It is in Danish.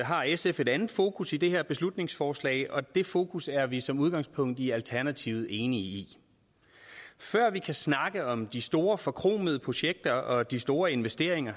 har sf et andet fokus i det her beslutningsforslag og det fokus er vi som udgangspunkt i alternativet enige i før vi kan snakke om de store forkromede projekter og de store investeringer